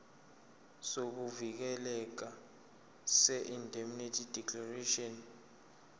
sokuvikeleka seindemnity declaration